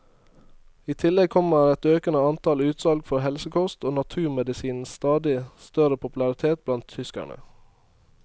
I tillegg kommer et økende antall utsalg for helsekost og naturmedisinens stadig større popularitet blant tyskerne.